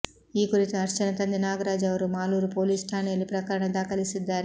ಈ ಕುರಿತು ಹರ್ಷನ ತಂದೆ ನಾಗರಾಜ್ ಅವರು ಮಾಲೂರು ಪೊಲೀಸ್ ಠಾಣೆಯಲ್ಲಿ ಪ್ರಕರಣ ದಾಖಲಿಸಿದ್ದಾರೆ